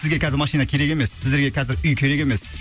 сізге қазір машина керек емес сіздерге қазір үй керек емес